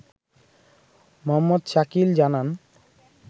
মো.শাকিল জানান